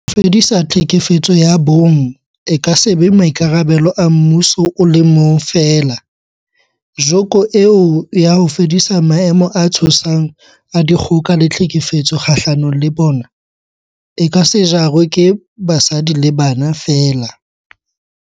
Ho fedisa tlhekefetso ya bong e ka se be maikarabelo a mmuso o le mong feela, joko eo ya ho fedisa maemo a tshosang a dikgoka le tlhekefetso kgahlano le bona, e ka se jarwe ke basadi le bana feela.